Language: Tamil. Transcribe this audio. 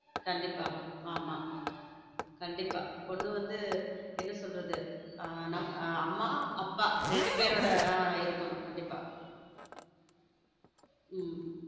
கண்டிப்பா ஆமா கண்டிப்பா பொண்ணு வந்து என்ன சொல்றது அம்மா அப்பா இரண்டு பேருடைய இருக்கணும் கண்டிப்பா.